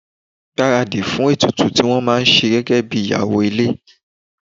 Gbaradi fún ètùtù tó máa ṣe gẹ́gẹ́bí ìyàwó ilé.